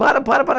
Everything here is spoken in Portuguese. Para, para, para.